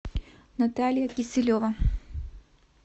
наталья киселева